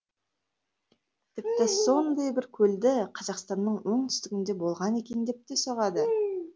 тіпті сондай бір көлді қазақстанның оңтүстігінде болған екен деп те соғады